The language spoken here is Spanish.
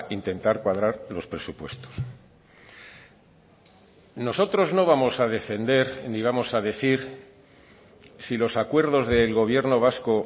intentar cuadrar los presupuestos nosotros no vamos a defender ni vamos a decir si los acuerdos del gobierno vasco